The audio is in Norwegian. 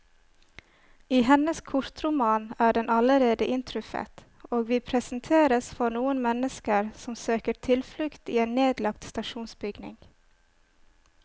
I hennes kortroman er den allerede inntruffet, og vi presenteres for noen mennesker som søker tilflukt i en nedlagt stasjonsbygning.